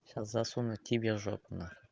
сейчас засуну тебя в жопу на